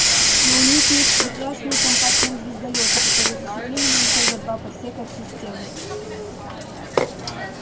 но у них есть прекрасные компактные звездолёты которые засекли меня ещё за два парсека от системы